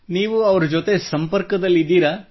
ನೀವು ಅವರೊಂದಿಗೆ ಸಂಪರ್ಕದಲ್ಲಿದ್ದೀರಾ